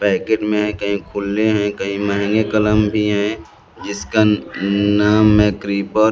Packet में कही खुलै हैं कही महंगे कलम भी हैं जिसका म नाम है क्रीपर ।